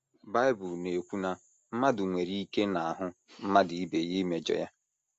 Bible na - ekwu na “ mmadụ nwere ike n’ahụ mmadụ ibe ya imejọ ya